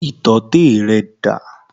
Ìtọ́tẹ̀ rẹ dà?